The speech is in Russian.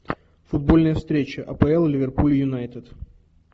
футбольная встреча апл ливерпуль юнайтед